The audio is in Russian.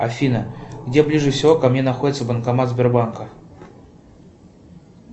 афина где ближе всего ко мне находится банкомат сбербанка